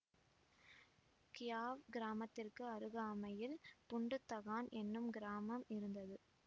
Kyaw கிராமத்திற்கு அருகாமையில் புண்டு தகான் என்னும் கிராமம் இருந்தது